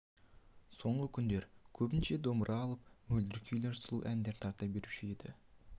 соңғы күндер көбінше домбыра алып мөлдір күйлер сұлу әндер тарта беруші еді